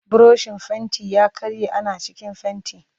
Burushin fentin ya karye yana cikin fenti